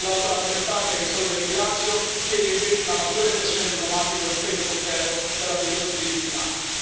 All'Alto rappresentante, che saluto e ringrazio, chiedo invece una maggiore pressione diplomatica e un impegno concreto per la difesa dei diritti umani.